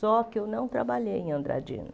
Só que eu não trabalhei em Andradina.